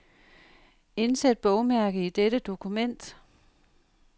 Indsæt bogmærke i dette dokument.